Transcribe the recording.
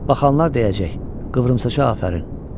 Baxanlar deyəcək, qıvrımsaça afərin.